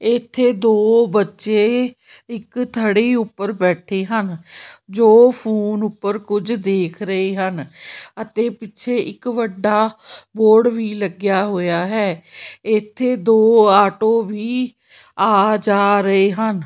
ਇੱਥੇ ਦੋ ਬੱਚੇ ਇੱਕ ਥੜੀ ਉੱਪਰ ਬੈਠੇ ਹਨ ਜੋ ਫੋਨ ਉੱਪਰ ਕੁਝ ਦੇਖ ਰਹੇ ਹਨ ਅਤੇ ਪਿੱਛੇ ਇੱਕ ਵੱਡਾ ਬੋਰਡ ਵੀ ਲੱਗਿਆ ਹੋਇਆ ਹੈ ਇੱਥੇ ਦੋ ਆਟੋ ਵੀ ਆ ਜਾ ਰਹੇ ਹਨ।